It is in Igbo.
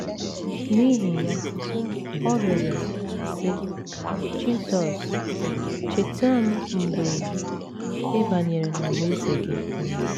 N’ihi ya, ọ rịọrọ, sị: “ Jizọs, cheta m mgbe ị banyere n’alaeze gị. ”